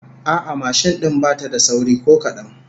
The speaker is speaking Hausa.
A'a, mashin din bata da sauri ko kadan